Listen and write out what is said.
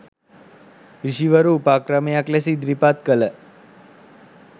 ඍෂිවරු උපක්‍රමයක් ලෙස ඉදිරිපත් කළ